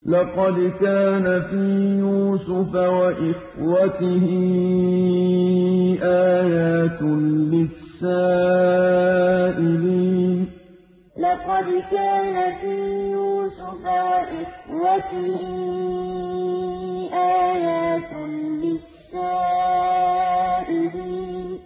۞ لَّقَدْ كَانَ فِي يُوسُفَ وَإِخْوَتِهِ آيَاتٌ لِّلسَّائِلِينَ ۞ لَّقَدْ كَانَ فِي يُوسُفَ وَإِخْوَتِهِ آيَاتٌ لِّلسَّائِلِينَ